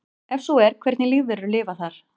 Ef svo er hvernig lífverur lifa þar?